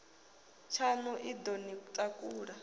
tshaṋu i ḓo ni takula